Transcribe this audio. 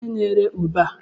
Kedu onye n'ere ube a?